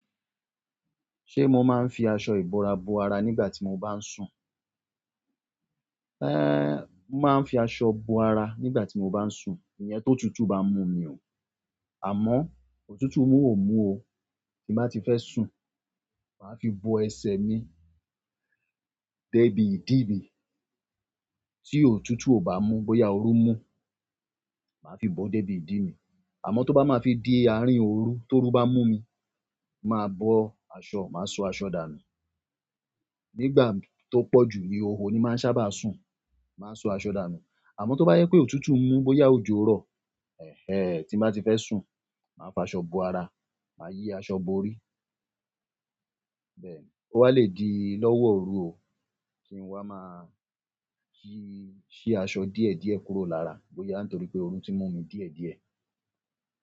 Ṣé mo máa ń fi aṣọ ìbora bo ara nígbà tí mo bá ń sùn? Eh! Mo máa ń fi aṣọ bo ara nígbà tí mo bá ń sùn, ìyen tó tutù bá mú mi o, àmọ́ òtútù mú ò mú o, tí bá ti fẹ́ sùn, màá fi bo ẹsẹ̀ mi débi ìdí mi, tí òtútù ò bá mú bóyá oru mú, màá fi bo débi ìdí mi. Àmọ́ tó bá máa fi dé àárín òru tó ru bá mú mi, màá bọ aṣọ, màá so aṣọ dànù. Nígbà tó pọ̀ jù ní ihoho ni màá n sábà sùn, màá so aṣọ dànù. Àmọ́ tó bá jẹ pé òtútù mú bóyá òjò rọ̀, ẹhéh! Tí bá ti fẹ́ sùn, màá fi aṣọ bo ara, màá yí aṣọ bò órí. Bẹ́ẹ̀ni, ó wa le di lọ́wọ́ òru o kí n wa máa yí, ṣí aṣọ díẹ̀ díẹ̀ kúrò lára bóyá nítorí pé oru tí mú mi díẹ̀ díẹ̀.